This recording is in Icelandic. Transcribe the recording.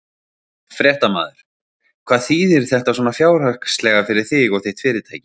Fréttamaður: Hvað þýðir þetta svona fjárhagslega fyrir þig og þitt fyrirtæki?